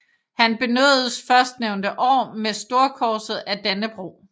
Han benådedes førstnævnte år med Storkorset af Dannebrog